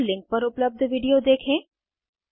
निम्न लिंक पर उपलब्ध वीडियो देखें